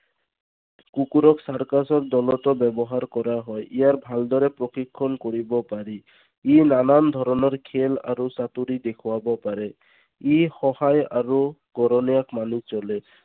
কুকুৰক circus দলতো ব্যৱহাৰ কৰা হয়। ইয়াৰ ভালদৰে প্ৰশিক্ষণ কৰিব পাৰি। ই নানান ধৰণৰ খেল আৰু চাতুৰি দেখুৱাব পাৰে। ই সহায় আৰু মানি চলে।